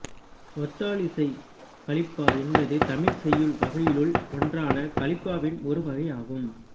ஒத்தாழிசைக் கலிப்பா என்பது தமிழ்ச் செய்யுள் வகைகளுள் ஒன்றான கலிப்பாவின் ஒரு வகையாகும்